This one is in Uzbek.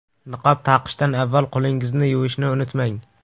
Niqob taqishdan avval qo‘lingizni yuvishni unutmang!